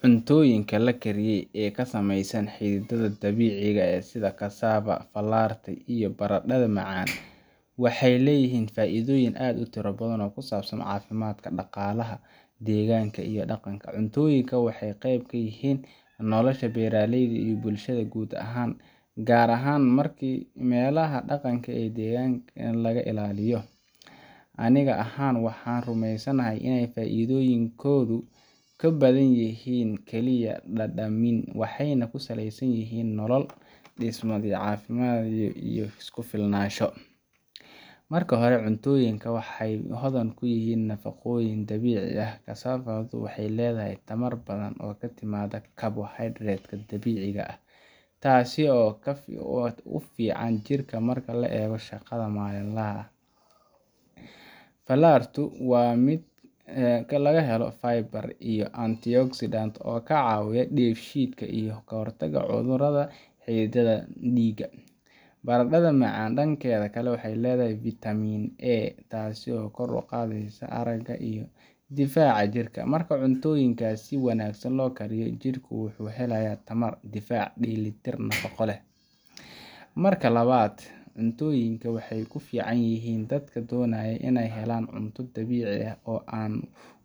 Cuntoyinka lakariye oo kasameysa xididada dabiciga eeh sidha cassava falarti, iyoh baradadha macan waxay leyihin faidoyin aad utira badhan oo kusabsan cafimadka daqalaha deganka cuntoyinka waxay qeyb kayin nolosha beraleyda iyoh bulshada gud ahan marki melaha daqanka deganka laga ilaliyo aniga ahan waxan rumesanahay inay faidoyin kow kabadanyihin vitamin, waxay nah kusaley sanyihin nolol dismo iyo cafimad iyoh kufilnasho, marki hore cuntoyinka waxay hodan kuyihin nafaqoyin dabici ah, cassavagu waxay ledahay tamar badhan oo katimata kabohydrateska dabiciga ah, tasi oo ufican jirka marka la ego shaqada malinlaha ah, filartu wa mid lagahelo faybrant iyoh anti oxidant okacawiyah diga shidka iyo kahortaga cudurada xididaha diga barandadha macan dankedha kale waxay ledahay vitamin A tasi oo kor uqadeysa araga iyoh difaca jirka marka cuntoyinkas loo kariyo si wanagsan jirka wuxu helayah tamar dfac nafaqo delitir leh, marka labad cuntoyinka waxay kuficanyihin dadka donayo inay helan cunto dabici ah oo an